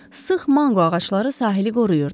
Sıx manqo ağacları sahili qoruyurdu.